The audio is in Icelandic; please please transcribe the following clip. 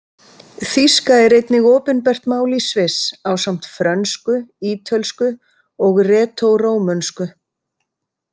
Þýska er einnig opinbert mál í Sviss ásamt frönsku, ítölsku og retórómönsku.